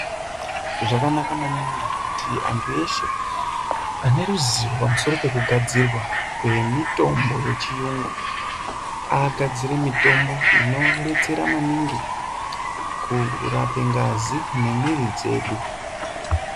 Zvakanaka maningi kuti andu eshe ane ruzivo pamusoro pokugadzirwa kwemitombo yechiyungu agadzire mitombo inobetsera maningi kurape ngazi nemuwiri dzedu.